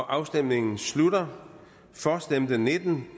afstemningen slutter for stemte nitten